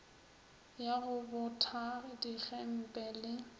ya go botha digempe le